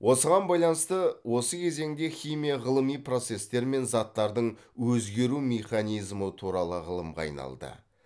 осыған байланысты осы кезеңде химия ғылыми процестер мен заттардың өзгеру механизмі туралы ғылымға айналды